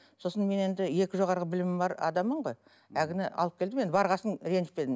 сосын мен енді екі жоғарғы білімім бар адаммын ғой әлгіні алып келдім енді барған соң ренжітпедім